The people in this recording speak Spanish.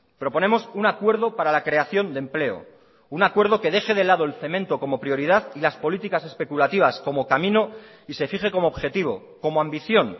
proponemos un acuerdo para la creación de empleo un acuerdo que deje de lado el cemento como prioridad y las políticas especulativas como camino y se fije como objetivo como ambición